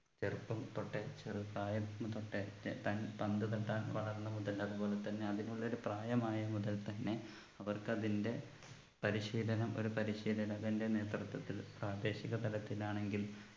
ചെറുപ്പം തൊട്ടേ ചെറുപ്രായം തൊട്ടെ താൻ പന്ത് തട്ടാൻ വളർന്ന മുതൽ അതുപോലെ തന്നെ അതിനുള്ള ഒരു പ്രായമായ മുതൽ തന്നെ അവർക്ക് അതിൻ്റെ പരിശീലനം ഒരു പരിശീലനകൻ്റെ നേതൃത്വത്തിൽ പ്രാദേശിക തലത്തിൽ ആണെങ്കിലും